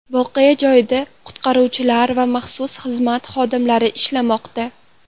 Voqea joyida qutqaruvchilar va maxsus xizmat xodimlari ishlamoqda.